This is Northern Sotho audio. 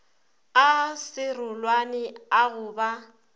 a serolwane a go ba